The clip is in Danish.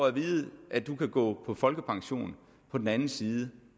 at vide du kan gå på folkepension på den anden side